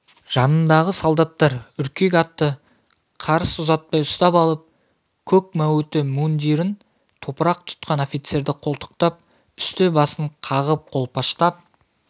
жанындағы солдаттар үркек атты қарыс ұзатпай ұстап алып көк мәуіті мундирін топырақ тұтқан офицерді қолтықтап үсті-басын қағып қолпаштап